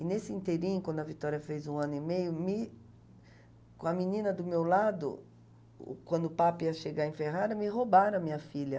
E nesse inteirinho, quando a Vitória fez um ano e meio, me... com a menina do meu lado, quando o Papa ia chegar em Ferrara, me roubaram a minha filha.